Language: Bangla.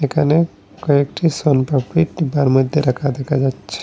এখানে কয়েকটি শন পাপড়ি ডিব্বার মধ্যে রাখা দেখা যাচ্ছে।